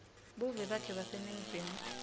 buve bakhe baseningizimu